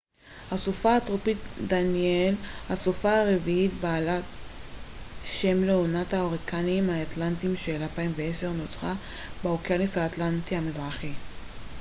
הסופה הטרופית דניאל הסופה הרביעית בעלת שם לעונת ההוריקנים האטלנטיים של 2010 נוצרה באוקיינוס האטלנטי המזרחי